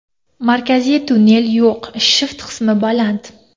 Markaziy tunnel yo‘q, shift qismi baland.